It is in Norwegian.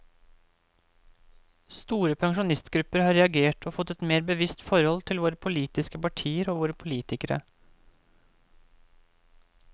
Store pensjonistgrupper har reagert og fått et mer bevisst forhold til våre politiske partier og våre politikere.